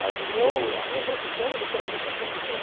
Mas o meu a minha profissão literalmente é professor.